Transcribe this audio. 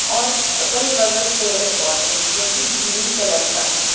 और अगल-बगल पेड़-पौधे हैं जो कि ग्रीन कलर का हैं।